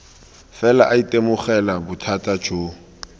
fela a itemogela bothata jo